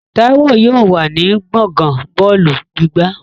Táíwò yóò wà ní gbọ̀ngán bọ́ọ̀lù gbígbá